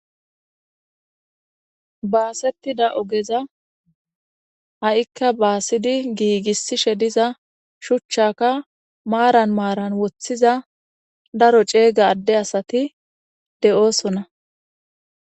baasettida ogeza ha7ikka baasidi giigissishe diza shuchchaka maaran maaran woththiza daro ceega adde asati de7oosona